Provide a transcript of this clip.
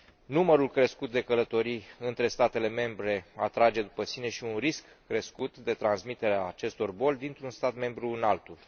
Numărul crescut de călătorii între statele membre atrage după sine și un risc crescut de transmitere a acestor boli dintr un stat membru în altul.